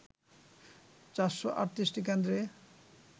৪৩৮ টি কেন্দ্রে